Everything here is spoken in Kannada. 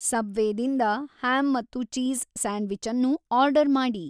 ಸಬ್ವೆ ದಿಂದ ಹ್ಯಾಮ್ ಮತ್ತು ಚೀಸ್ ಸ್ಯಾಂಡ್‌ವಿಚ್ ಅನ್ನು ಆರ್ಡರ್ ಮಾಡಿ